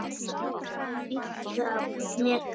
Hvað viltu með þessu?